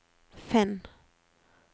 finn